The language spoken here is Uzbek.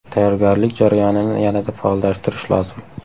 Tayyorgarlik jarayonini yanada faollashtirish lozim.